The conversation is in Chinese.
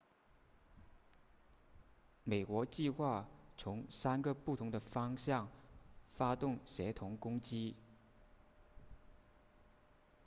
美国计划从三个不同的方向发动协同攻击